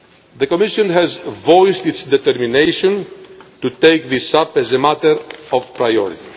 priorities. The Commission has voiced its determination to take this up as a matter of